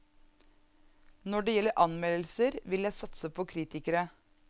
Når det gjelder anmeldelser vil jeg satse på kritikere.